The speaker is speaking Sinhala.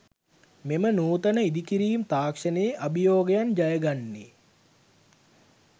මෙම නූතන ඉදිකිරීම් තාක්‍ෂණයේ අභියෝගයන් ජය ගන්නේ